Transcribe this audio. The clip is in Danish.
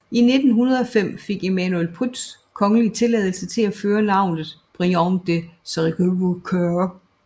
I 1905 fik Emmanuel Prytz kongelig tilladelse til at føre navnet Briand de Crèvecoeur